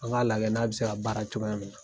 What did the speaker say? An ga lajɛ n'a bi se ka baara cogoya min na